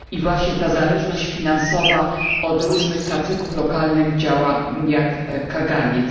I właśnie ta zależność finansowa od różnych kacyków lokalnych działa jak kaganiec.